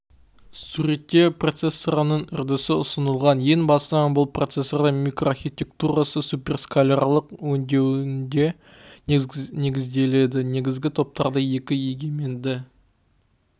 суретте процессорының үрдісі ұсынылған ең басынан бұл процессордың микроархитектурасы суперскалярлық өңдеуінде негізделеді негізгі топтарды екі егеменді